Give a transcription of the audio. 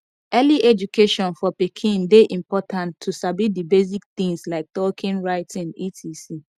early education for pikin de important to sabi di basic things like talking writing etc